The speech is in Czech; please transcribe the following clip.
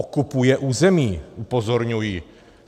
Okupuje území - upozorňuji.